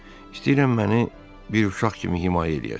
İstəyirəm məni bir uşaq kimi himayə eləyəsiniz.